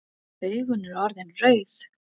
Augun eru orðin rauð.